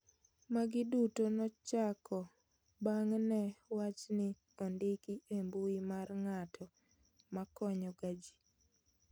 Magi duto nochako bang' ne wachni ondiki e mbui mar ng'ato makonyo ga ji